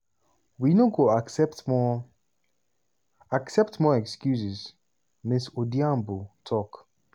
we no go accept more accept more excuses" ms odhiambo tok.